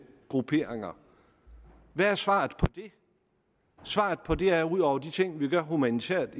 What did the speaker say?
grupperinger hvad er svaret på det svaret på det er ud over de ting vi gør humanitært